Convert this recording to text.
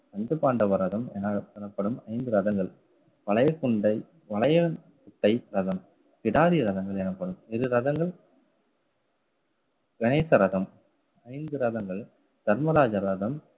பஞ்ச பாண்டவரதம் எனப்படும் ஐந்து ரதங்கள் வளையல் கொண்டை வளையல் முட்டை ரதம் கிடாரிய ரதங்கள் எனப்படும். இரு ரதங்கள் கணேச ரதம் ஐந்து ரதங்கள் தர்மராஜ ரதம்